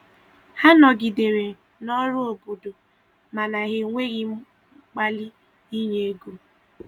Ha nọgidere n'ọrụ obodo mana ha enweghi mkpali inye ego